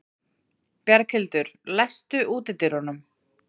Bjarghildur, læstu útidyrunum.